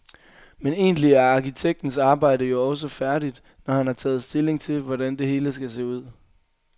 Men egentlig er arkitektens arbejde jo også færdigt, når han har taget stilling til, hvordan det hele skal se ud.